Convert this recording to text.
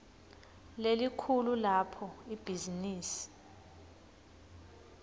lelikhulu lapho ibhizinisi